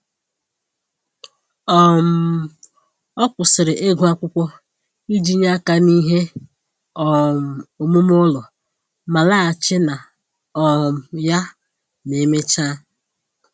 um Ọ kwụsịrị ịgụ akwụkwọ iji nye aka n'ihe um omume ụlọ ma laghachi na um ya ma emechaa